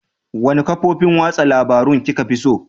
Wanne kafofin watsa labarun kika fi so?